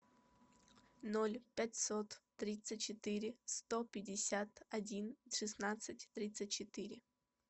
ноль пятьсот тридцать четыре сто пятьдесят один шестнадцать тридцать четыре